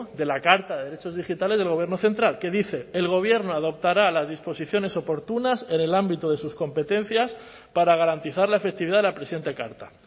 de la carta de derechos digitales del gobierno central que dice el gobierno adoptará las disposiciones oportunas en el ámbito de sus competencias para garantizar la efectividad de la presente carta